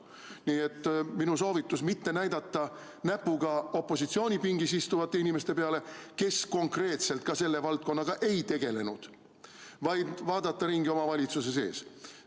Nii et minu soovitus: mitte näidata näpuga opositsiooni pingireas istuvate inimeste peale, kes konkreetselt selle valdkonnaga ei tegelenud, vaid vaadake ringi oma valitsuse sees.